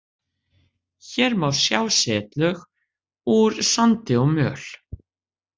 Hér má sjá setlög úr sandi og möl.